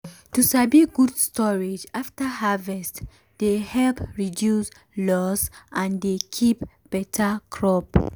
to sabi good storage after harvest dey help reduce loss and dey keep beta crop.